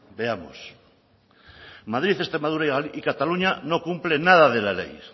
veamos madrid extremadura y cataluña no cumplen nada de la ley